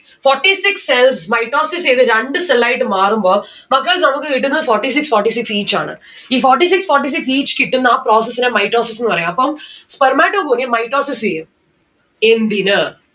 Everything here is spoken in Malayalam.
forty six cells mitosis ചെയ്ത രണ്ട്‌ cell ആയിട്ട് മാറുമ്പോ മക്കൾ നമ്മുക്ക് കിട്ടുന്നത് forty six forty six each ആണ്. ഈ forty six forty six each കിട്ടുന്ന ആ process നെ mitosis ന്ന്‌ പറയും അപ്പം spermatogonium mitosis ചെയ്യും എന്തിന്?